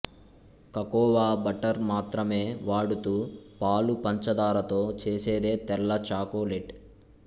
cocoa butter మాత్రమే వాడుతూ పాలు పంచదారతో చేసేదే తెల్ల చాకొలెట్